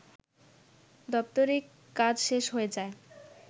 দাপ্তরিক কাজ শেষ হয়ে যায়